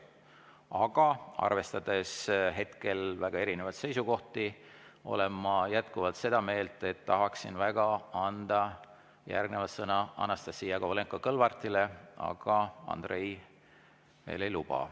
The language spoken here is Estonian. Aga arvestades hetkel väga erinevaid seisukohti, olen ma jätkuvalt seda meelt, et tahaksin anda järgnevalt sõna Anastassia Kovalenko-Kõlvartile, aga Andrei veel ei luba.